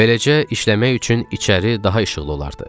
Beləcə işləmək üçün içəri daha işıqlı olardı.